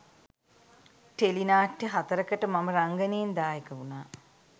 tele නාට්‍ය හතරකට මම රංගනයෙන් දායක වුණා